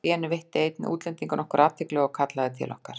Allt í einu veitti einn útlendinganna okkur athygli og kallaði til okkar.